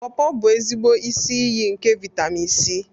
Pawpaw bụ ezigbo isi iyi nke vitamin C.